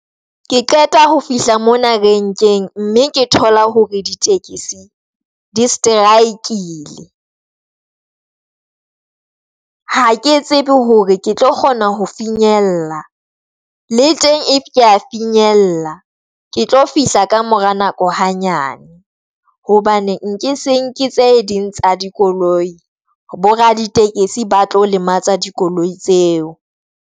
Ke qeta ho fihla mona renkeng mme ke thola hore di tekesi di strike-ile, ha ke tsebe hore ke tlo kgona ho finyella le teng, if kea finyella ke tlo fihla ka mora nako hanyane hobane nke se nke tse ding tsa dikoloi bo raditekesi ba tlo lematsa dikoloi tseo.